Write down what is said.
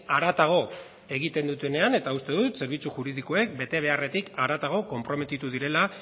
haratago egiten dutenean eta uste dut zerbitzu juridikoek betebeharretik haratago konprometitu direla